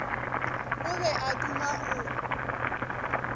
o be a duma go